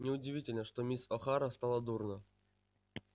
неудивительно что мисс охара стало дурно